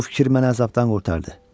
Bu fikir məni əzabdan qurtardı.